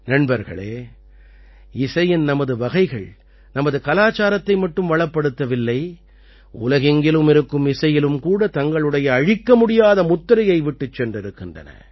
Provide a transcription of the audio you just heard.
நண்பர்களே இசையின் நமது வகைகள் நமது கலாச்சாரத்தை மட்டும் வளப்படுத்தவில்லை உலகெங்கிலும் இருக்கும் இசையிலும் கூட தங்களுடைய அழிக்கமுடியா முத்திரையை விட்டுச் சென்றிருக்கின்றன